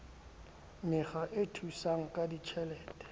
mekga e thusang ka ditjhelete